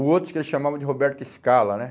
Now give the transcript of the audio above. O outro que eles chamavam de Roberto Scala, né?